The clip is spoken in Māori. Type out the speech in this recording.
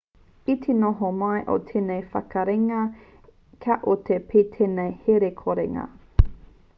i te noho mai o tēnei whakaritenga ka oti pea tēnei herekorenga